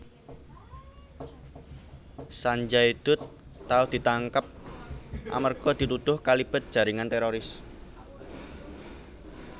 Sanjay Dutt tau ditangkap amarga dituduh kalibet jaringan teroris